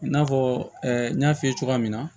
I n'a fɔ n y'a f'i ye cogoya min na